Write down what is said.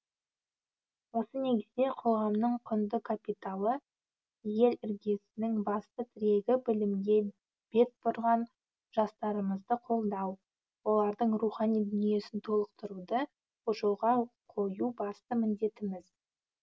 осы негізде қоғамның құнды капиталы ел іргесінің басты тірегі білімге бет бұрған жастарымызды қолдау олардың рухани дүниесін толықтыруды жолға қою басты міндетіміз